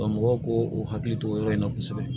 mɔgɔw k'o hakili to o yɔrɔ in na kosɛbɛ